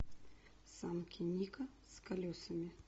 санки ника с колесами